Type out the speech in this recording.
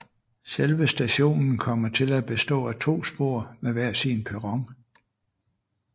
Selve stationen kommer til at bestå af to spor med hver sin perron